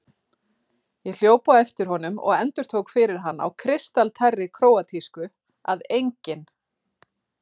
Ég hljóp á eftir honum og endurtók fyrir hann á kristaltærri króatísku að ENGINN